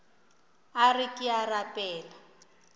a re ke a rapela